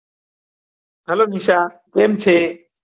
hello Nisha કેમ છે